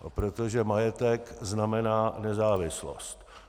Protože majetek znamená nezávislost.